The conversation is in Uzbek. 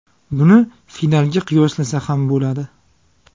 Buni finalga qiyoslasa ham bo‘ladi.